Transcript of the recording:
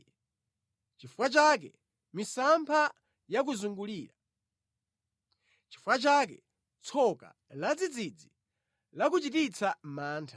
Nʼchifukwa chake misampha yakuzungulira, nʼchifukwa chake tsoka ladzidzidzi lakuchititsa mantha,